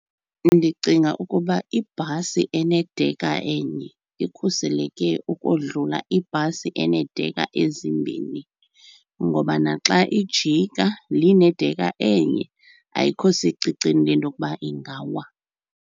Ndicinga ukuba ibhasi enedekha enye ikhuseleke ukodlula ibhasi eneedekha ezimbini ngoba naxa ijika le inedekha enye ayikho secicini lento yokuba ingawa.